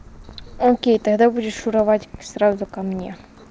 окей тогда будешь шуровать сразу ко мне